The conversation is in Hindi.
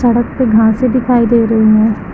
छत पे घासें दिखायी दे रही हैं।